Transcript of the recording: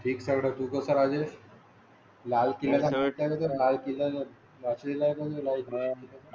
Fixed तू कसा असेल? लाल केळी लाल किल्ला बाळ आहे. मला तर म्हणजे ज्यांना हो.